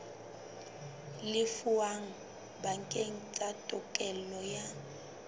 lefuweng bakeng sa tokelo ya